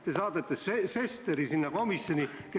Te saadate Sesteri sinna komisjoni, kes kindlasti ei ole ...